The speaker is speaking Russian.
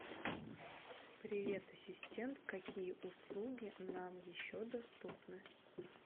привет ассистент какие услуги нам еще доступны